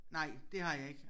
Nej det har jeg ikke